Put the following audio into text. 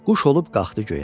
Quş olub qalxdı göyə.